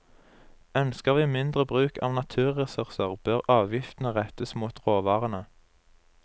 Ønsker vi mindre bruk av naturressurser, bør avgiftene rettes mot råvarene.